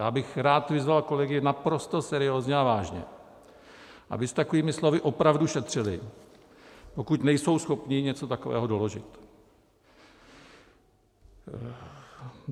Já bych rád vyzval kolegy naprosto seriózně a vážně, aby s takovými slovy opravdu šetřili, pokud nejsou schopni něco takového doložit.